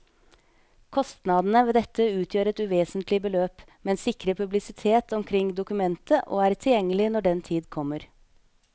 Kostnadene ved dette utgjør et uvesentlig beløp, men sikrer publisitet omkring dokumentet og er tilgjengelig når den tid kommer.